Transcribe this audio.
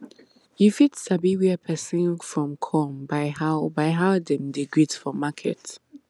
you fit sabi where persin from come by how by how dem dey greet for market